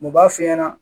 U b'a f'i ɲɛna